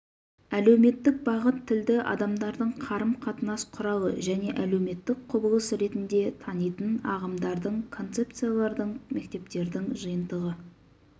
әлеуметтік бағыт тілді адамдардың қарым-қатынас құралы және әлеуметтік құбылыс ретінде танитын ағымдардың концепциялардың мектептердің жиынтығы